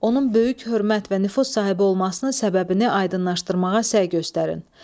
Onun böyük hörmət və nüfuz sahibi olmasının səbəbini aydınlaşdırmağa səy göstərin.